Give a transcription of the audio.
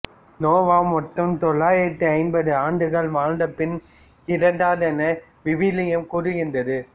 நோவா மொத்தம் தொள்ளாயிரத்து ஐம்பது ஆண்டுகள் வாழ்ந்தபின் இறந்தார் என விவிலியம் கூறுகின்றது